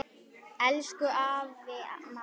Elsku afi Manni.